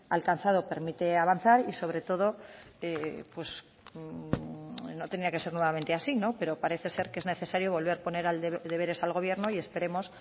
alcanzado permite avanzar y sobre todo no tenía que ser nuevamente así pero parece ser que es necesario volver a poner deberes al gobierno y esperemos